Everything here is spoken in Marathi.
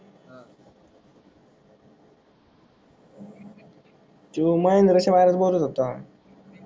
तोय महिंद्रा शाळेत बोलत होता